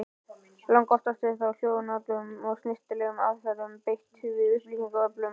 Langoftast var þó hljóðlátum og snyrtilegum aðferðum beitt við upplýsingaöflun.